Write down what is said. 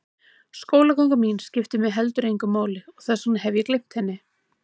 Skólaganga mín skiptir mig heldur engu máli og þess vegna hef ég gleymt henni.